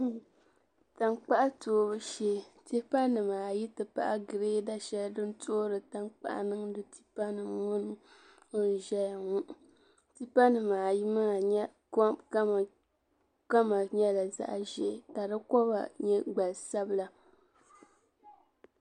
Tan kpaɣu toobu shee tipa nim ayi ti pahi greada shɛli din toori. tan kpaɣu niŋdi tipanimŋɔni. n zɛyaŋɔ tipanim ayimaa kama nyɛla zaɣzɛɛ ka koba nim nyɛ zaɣi sabila.